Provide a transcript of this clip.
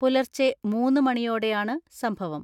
പുലർച്ചെ മൂന്ന് മണിയോടെയാണ് സംഭവം.